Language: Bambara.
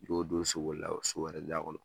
Ko don so wɛrɛ da kɔnɔ